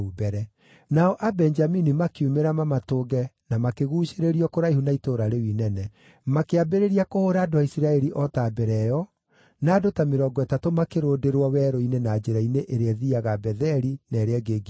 Nao Abenjamini makiumĩra mamatũnge na makĩguucĩrĩrio kũraihu na itũũra rĩu inene. Makĩambĩrĩria kũhũũra andũ a Isiraeli o ta mbere ĩyo, na andũ ta mĩrongo ĩtatũ makĩrũndĩrwo werũ-inĩ na njĩra-inĩ ĩrĩa ĩthiiaga Betheli na ĩrĩa ĩngĩ Gibea.